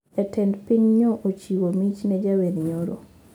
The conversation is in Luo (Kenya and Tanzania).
Jatend piny nyo ochiwo mich ne jawer nyoro